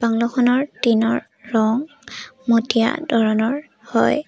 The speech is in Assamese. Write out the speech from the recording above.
বাংলৌ খনৰ টিনৰ ৰং মটীয়া ধৰণৰ হয়।